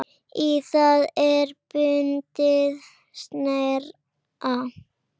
Í það er bundið snæri.